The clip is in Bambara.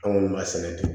Anw b'a sɛnɛ ten